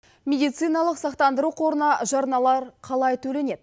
медициналық сақтандыру қорына жарналар қалай төленеді